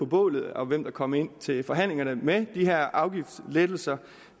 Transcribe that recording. bålet og hvem der kom ind til forhandlingerne med de her afgiftslettelser